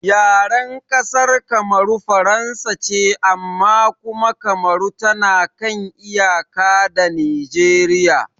Yaren ƙasar Kamaru Faransa ce amma kuma Kamaru tana kan iyaka da Nijeriya